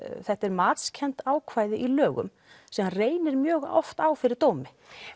þetta eru matskennd ákvæði í lögum sem reynir mjög oft á fyrir dómi